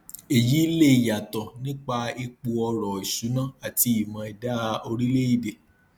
èyí lè yàtọ nípa ipò ọrọ ìṣúnná àti ìmọ ẹdá orílẹèdè